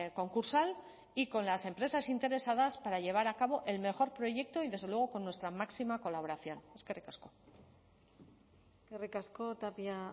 concursal y con las empresas interesadas para llevar a cabo el mejor proyecto y desde luego con nuestra máxima colaboración eskerrik asko eskerrik asko tapia